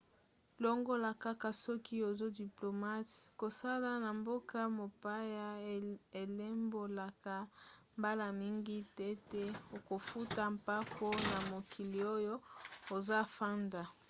longola kaka soki oza diplomate kosala na mboka mopaya elimbolaka mbala mingi tete okofuta mpako na mokili oyo ozafanda